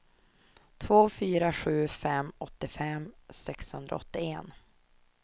två fyra sju fem åttiofem sexhundraåttioett